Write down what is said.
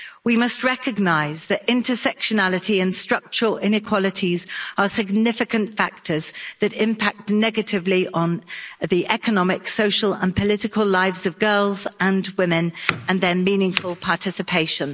We must recognise that intersectionality and structural inequalities are significant factors that impact negatively on the economic, social and political lives of girls and women and their meaningful participation.